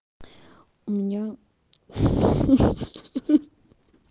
у меня ха-ха-ха